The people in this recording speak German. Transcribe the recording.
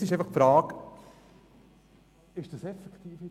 Jetzt ist einfach die Frage...